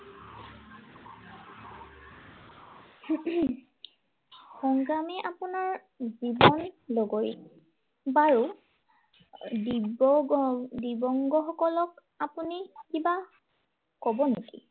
সংগ্ৰামেই আপোনাৰ জীৱন লগৰী। বাৰু দিবংগ আহ দিব্য়ংগসকলক আপুনি কিবা কব নেকি?